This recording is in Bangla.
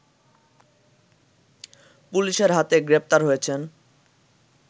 পুলিশের হাতে গ্রেপ্তার হয়েছেন